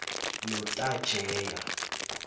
notajewa